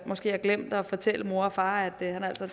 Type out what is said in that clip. måske har glemt at fortælle mor og far at han altså